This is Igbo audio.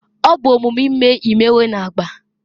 ọ bụ omume ime imewe na agba